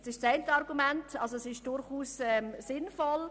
Dieses Zusammengehen ist also durchaus sinnvoll.